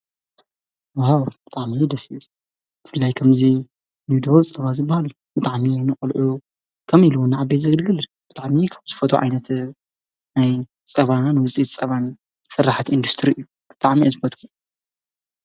ውሃው ብጥዕሚዪ ደሲብ ፍላይ ከምዙይ ንድ ጸባ ዝባል ብጥዕሚ ንቕልዑ ከም ኢሉዉን ኣቤ ዘግልግልድ ብጥዕሚዪ ካም ስፈቱ ዓይነት ናይ ጸባ ንውፂት ጸባን ሠራሕት ኢንዱስትሪ እዩ ብጥዓሚይ ዝበትኩ።